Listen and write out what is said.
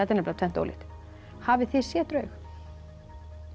er nefnilega tvennt ólíkt hafið þið séð draug